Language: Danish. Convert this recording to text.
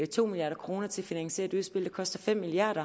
to milliard kroner til at finansiere et udspil der koster fem milliard